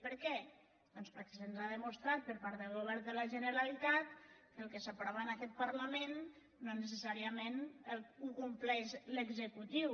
per què doncs perquè se’ns ha demostrat per part del govern de la genera·litat que el que s’aprova en aquest parlament no ne·cessàriament ho compleix l’executiu